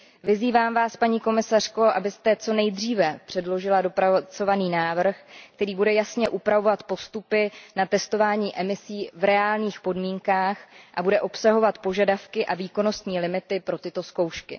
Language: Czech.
Vyzývám vás, paní komisařko, abyste co nejdříve předložila dopracovaný návrh, který bude jasně upravovat postupy na testování emisí v reálných podmínkách a bude obsahovat požadavky a výkonnostní limity pro tyto zkoušky.